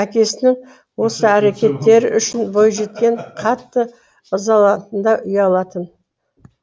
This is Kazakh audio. әкесінің осы әрекеттері үшін бойжеткен қатты ызаланатын да ұялатын